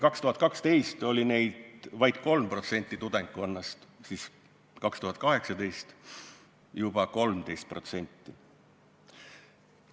2012 oli neid tudengkonnast vaid 3%, ent 2018 juba 13%.